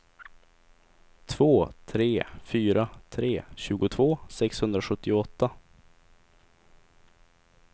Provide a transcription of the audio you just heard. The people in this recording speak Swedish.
två tre fyra tre tjugotvå sexhundrasjuttioåtta